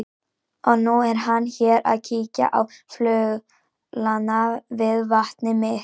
Og nú er hann hér að kíkja á fuglana við vatnið mitt.